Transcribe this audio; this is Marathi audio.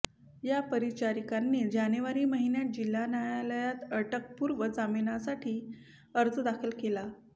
या परिचारिकांनी जानेवारी महिन्यात जिल्हा न्यायालयात अटकपूर्व जामिनासाठी अर्ज दाखल केला